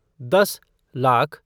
दस लाख